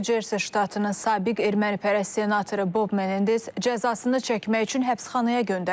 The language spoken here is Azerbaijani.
New Jersey ştatının sabiq ermənipərəst senatoru Bob Menendez cəzasını çəkmək üçün həbsxanaya göndərilib.